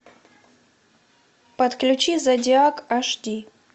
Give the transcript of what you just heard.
подключи зодиак аш ди